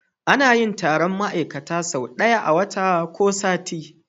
Anayin Taron ma'ikata so daya a wata ko sati